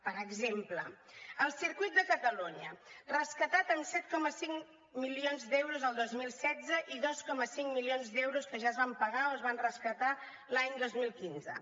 per exemple el circuit de catalunya rescatat amb set coma cinc milions d’euros el dos mil setze i dos coma cinc milions d’euros que ja es van pagar o es van rescatar l’any dos mil quinze